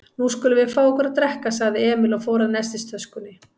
Nú skulum við fá okkur að drekka, sagði Emil og fór að nestistöskunni.